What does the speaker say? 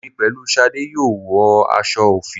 Èmi pẹ̀lú Ṣadé yóò wọ aṣọ òfì